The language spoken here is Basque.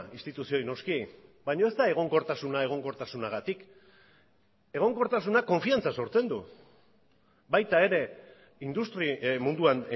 instituzioei noski baina ez da egonkortasuna egonkortasunagatik egonkortasunak konfiantza sortzen du baita ere industria munduan